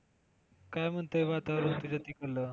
काय म्हणतंय वातावरण तुझ्या तिकडलं?